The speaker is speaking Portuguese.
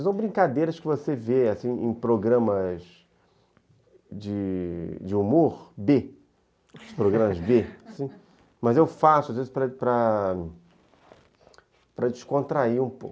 São brincadeiras que você vê assim, em programas de de humor bê. Programas bê, mas eu faço às vezes para descontrair um pouco.